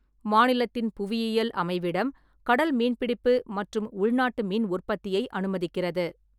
மாநிலத்தின் புவியியல் அமைவிடம் கடல் மீன்பிடிப்பு மற்றும் உள்நாட்டு மீன் உற்பத்தியை அனுமதிக்கிறது.